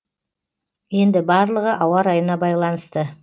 енді барлығы ауа райына байланысты